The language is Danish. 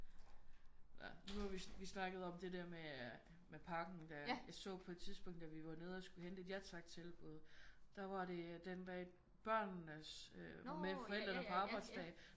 Når nu hvor vi vi snakkede om den der med med pakken der jeg så på et tidspunkt da vi var nede og skulle hente et ja tak tilbud da var det den dag børnenes øh med forældrene på arbejdsdag